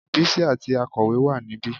Bísí àti akọ̀wé wà níbí